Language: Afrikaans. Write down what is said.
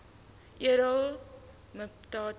edele mpati